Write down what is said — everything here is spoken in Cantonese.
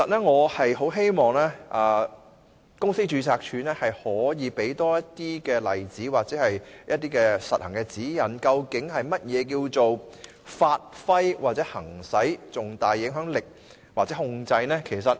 我很希望公司註冊處可以提供更多例子或實行指引，說明何謂"發揮或行使重大影響力或控制"。